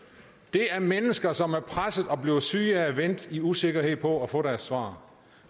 er mennesker som er presset og bliver syge af at vente i usikkerhed på at få deres svar